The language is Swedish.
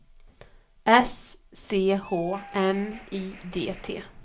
S C H M I D T